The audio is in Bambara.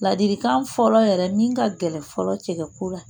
Ladilikan fɔlɔ yɛrɛ min ka gɛlɛn fɔlɔ cɛkɛ ko la